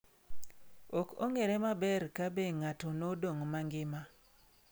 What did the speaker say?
Ok ong’ere maber ka be ng’atno nodong’ mangima.